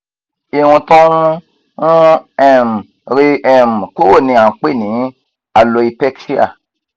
irun to n n um re um kuro ni a n pe ni aloepecia